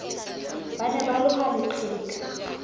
ba ne ba loha leqheka